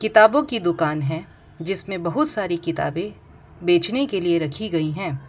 किताबों की दुकान हैं जिसमे बहुत सारी किताबे बेचने के लिए रखी गईं हैं।